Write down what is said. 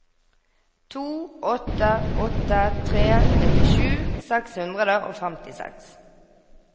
to åtte åtte tre nittisju seks hundre og femtiseks